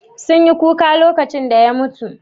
Sun yi kuka lokacin da ya mutu?